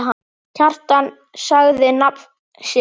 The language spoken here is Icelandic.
Kjartan sagði nafn sitt.